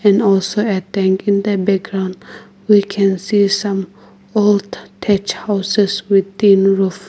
And also a tank in the background we can see some old thatch houses with tin roof